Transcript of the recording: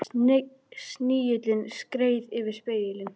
Snigillinn skreið yfir spegilinn.